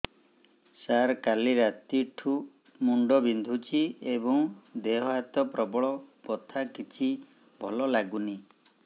ସାର କାଲି ରାତିଠୁ ମୁଣ୍ଡ ବିନ୍ଧୁଛି ଏବଂ ଦେହ ହାତ ପ୍ରବଳ ବଥା କିଛି ଭଲ ଲାଗୁନି